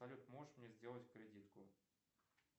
салют можешь мне сделать кредитку